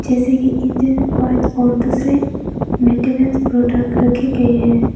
जैसे कि engine oil और दूसरे मेंटेनेंस प्रोडक्ट रखे गए हैं।